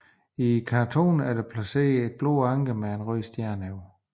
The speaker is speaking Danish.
I kantonen er der placeret et blåt anker med en rød stjerne over